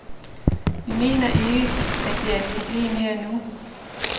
Vi mener ikke, at det er et problem her og nu.